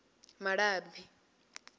malabi